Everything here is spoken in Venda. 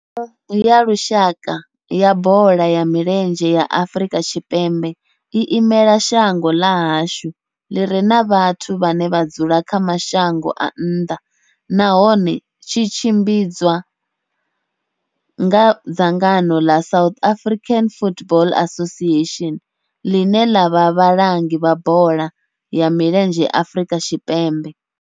Thimu ya lushaka ya bola ya milenzhe ya Afrika Tshipembe i imela shango ḽa hashu ḽi re na vhathu vhane vha dzula kha mashango a nnḓa nahone tshi tshimbidzwa nga dzangano la South African Football Association, line la vha vhalangi vha bola ya milenzhe Afrika Tshipembe.